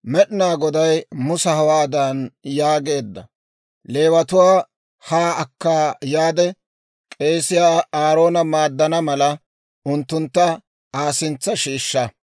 «Leewatuwaa haa akka yaade k'eesiyaa Aaroona maaddana mala, unttuntta Aa sintsa shiishsha.